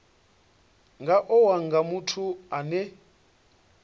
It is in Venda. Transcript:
nga owa nga muthu ane